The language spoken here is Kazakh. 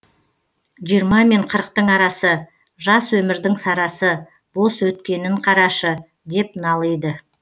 жиырма мен қырықтың арасы жас өмірдің сарасы бос өткенін қарашы деп налиды